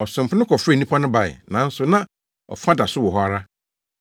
“Ɔsomfo no kɔfrɛfrɛɛ nnipa no bae, nanso na afa da so wɔ hɔ ara.